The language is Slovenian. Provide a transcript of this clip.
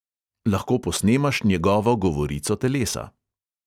Lahko posnemaš njegovo govorico telesa.